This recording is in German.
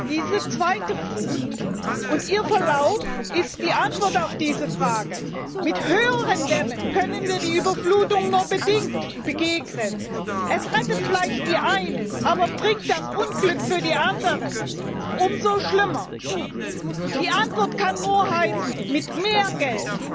Diese zweite Flut und ihr Verlauf ist die Antwort auf diese Frage. Mit höheren Dämmen können wir der Überflutung nur bedingt begegnen. Es rettet vielleicht die einen, bringt aber umso schlimmeres Unglück für die anderen. Die Antwort kann nur heißen Mit mehr